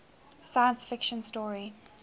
science fiction story